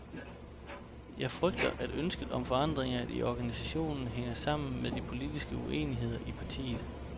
Jeg frygter, at ønsket om forandringer i organisationen hænger sammen med de politiske uenigheder i partiet.